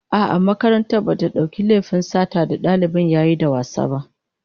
A'a, makaranta bata dauki laifin satar da dalibin yayi da wasa ba